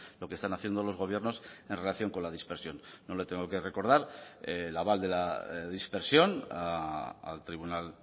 lo que están haciendo los gobiernos en relación con la dispersión no le tengo que recordar el aval de la dispersión al tribunal